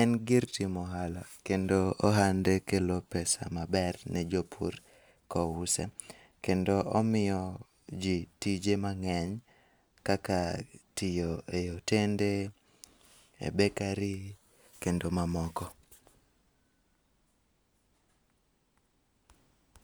en gir timo ohala kendo ohande kelo [cs6 pesa 5cs6 maber ne jopur kouse. Kendo omiyo ji tije mang'eny kaka tiyo eotende e bekari kendo mamoko.